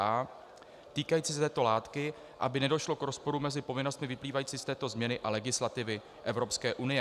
A týkající se této látky, aby nedošlo k rozporu mezi povinnostmi vyplývajícím z této změny a legislativy Evropské unie.